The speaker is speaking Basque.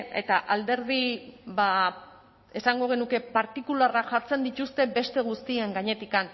eta alderdi esango genuke partikularra jartzen dituzte beste guztien gainetik